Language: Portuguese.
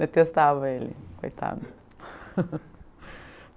Detestava ele, coitado.